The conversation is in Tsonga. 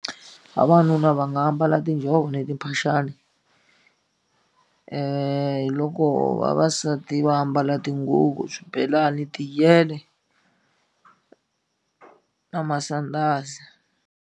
Vavanuna va nga ambala tinjhovo ni timphaxani hi loko vavasati va ambala tinguvu swibelani na masandhazi.